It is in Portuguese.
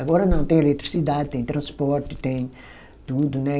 Agora não, tem eletricidade, tem transporte, tem tudo, né?